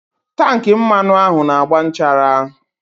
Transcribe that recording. Tankị mmanụ ahụ na-agba nchara.